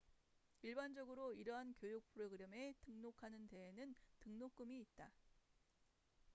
일반적으로 이러한 교육 프로그램에 등록하는 데에는 등록금이 있다